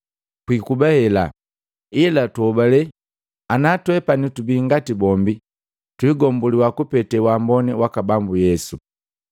Kwiikuba hela, ila tuhobale, ana twepani tubii ngati bombi, twigombuliwa kupete waamboni waka Bambu Yesu.”